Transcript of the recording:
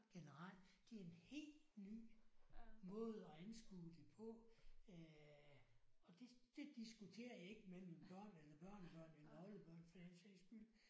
Generelt det er en helt ny måde at anskue det på øh og det det diskuterer jeg ikke med mine børn eller børnebørn eller oldebørn for den sags skyld